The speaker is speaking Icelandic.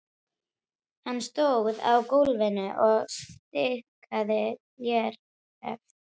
Hann stóð á gólfinu og stikaði léreft.